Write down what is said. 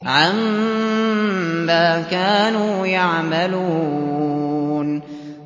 عَمَّا كَانُوا يَعْمَلُونَ